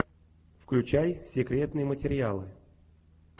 включай секретные материалы